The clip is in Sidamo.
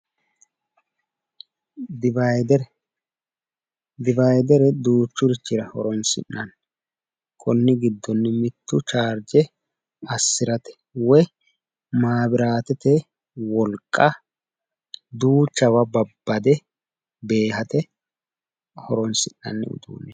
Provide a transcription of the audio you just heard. Divayidere duuchurira horoonsi'nanni konni viddonni mittu chaargje assirate woyi maabiratete wolqa duuchawa babbade beehate horoonsi'nanni uduunne.